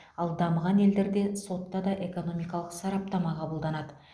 ал дамыған елдерде сотта да экономикалық сараптама қабылданады